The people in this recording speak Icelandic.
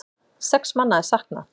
Sex manna er saknað.